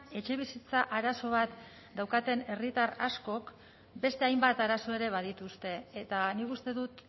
etxebizitza arazo bat daukaten herritar askok beste hainbat arazo ere badituzte eta nik uste dut